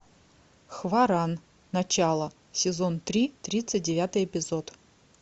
хваран начало сезон три тридцать девятый эпизод